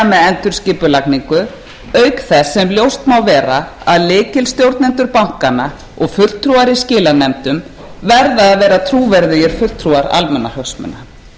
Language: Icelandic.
endurskipulagningu auk þess sem ljóst má vera að lykilstjórnendur bankanna og fulltrúar í skilanefndum verða að vera trúverðugir fulltrúar almannahagsmuna